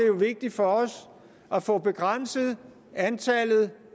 jo vigtigt for os at få begrænset antallet